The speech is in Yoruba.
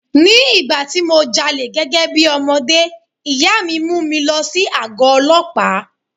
Ní ìgbà tí mo jalè gẹ́gẹ́ bí ọmọdé, ìyá mi mú mi lọ sí àgó Ọlọ́pàá.